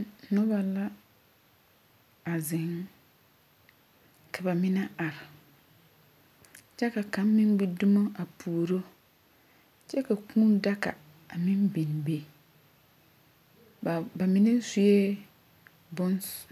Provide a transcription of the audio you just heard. Noba la, a zeŋ, ka ba mine are, kyɛ ka kaŋ meŋ gbi zumo a puoro, kyɛ ka kũũ daka a meŋ biŋ biŋ. Ba ba mine sue bons.